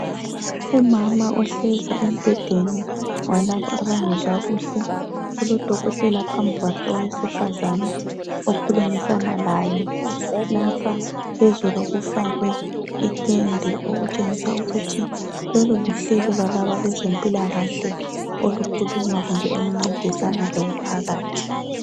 umama ohlezi embhedeni walabo abangezwa kuhle kulodokotela phambi kwakhe owesifazane okhulumisana laye lapha phezulu kufakwe itende okutshengisa ukuthi lolu luhlelo lwalaba abezempilakahle olukhuluma kumbe oluncedisana lomphakathi